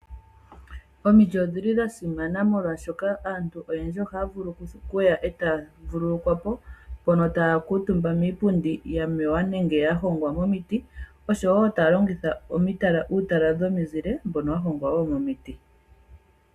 Omiti odha simana molwashoka oha dhi gandja omu zile kaantu una ya hala oku vululukwapo, oshowo oha ya kutumba kiipundi yahongwa momiti noku longitha uutala womuzile wahongwa mudho.